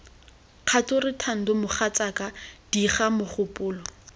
kgature thando mogatsaka diga mogopolo